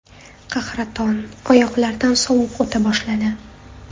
Qahraton, oyoqlardan sovuq o‘ta boshladi.